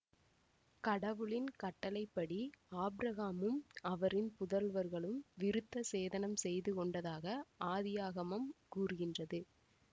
கடவுளின் கட்டளை படி ஆப்ரகாமும் அவரின் புதல்வர்களும் விருத்த சேதனம் செய்து கொண்டதாக ஆதியாகமம் கூறுகின்றது